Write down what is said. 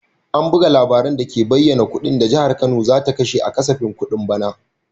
An buga labarin dake bayyana kudin da Jihar Kano za ta kashe a kasafin kudin bana.